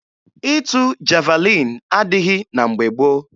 Ịtụ javalin adịghị na mgbe gboo.